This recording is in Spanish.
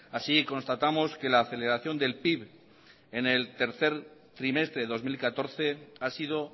así constatamos que la aceleración del pib en el tercer trimestre de dos mil catorce ha sido